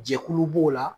Jɛkulu b'o la